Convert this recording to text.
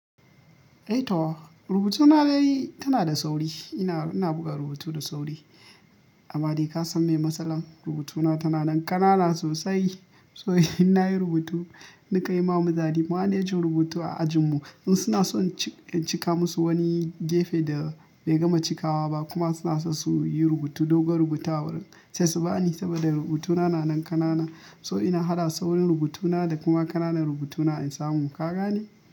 Eh Tow, rubutuna dai tana da sauri. Ina, ina buga rubutu da sauri. Amma dai ka san miye matsalan rubutuna tana nan ƙanana sosai. So in nayi rubutu, ni ka yi ma muzade. Manejin rubutu a ajinmu in suna so in cika musu wani gefe da bai gama cikawa ba kuma suna so su yi rubutu, dogon rubuta wurin sai su bani saboda rubutuna na nan ƙanana. So ina haɗa saurin rubutuna da kuma ƙananan rubutuna in samu, Ka gane?